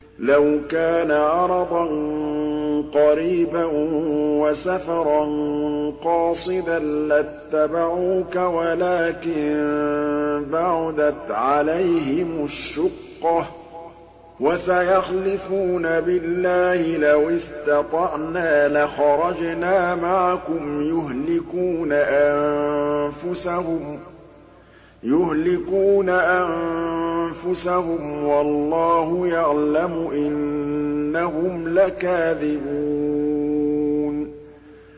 لَوْ كَانَ عَرَضًا قَرِيبًا وَسَفَرًا قَاصِدًا لَّاتَّبَعُوكَ وَلَٰكِن بَعُدَتْ عَلَيْهِمُ الشُّقَّةُ ۚ وَسَيَحْلِفُونَ بِاللَّهِ لَوِ اسْتَطَعْنَا لَخَرَجْنَا مَعَكُمْ يُهْلِكُونَ أَنفُسَهُمْ وَاللَّهُ يَعْلَمُ إِنَّهُمْ لَكَاذِبُونَ